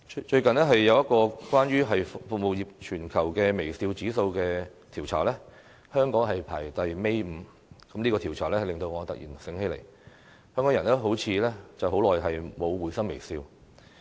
最近一項有關服務業的全球微笑指數調查，香港排名倒數第五，這個調查使我突然想起，香港人好像已經很久沒有會心微笑。